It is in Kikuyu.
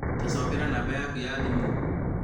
tacokera namba yakũ ya thimũ